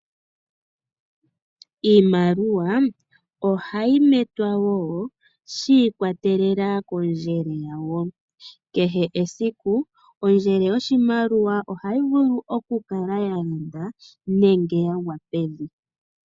Iimaliwa ohayi metwa shi ikwatelela kondjele yayo. Kehe esiku, ondjele yoshimaliwa ohayi vulu okukakala ya londa, nenge ya gwa pevi.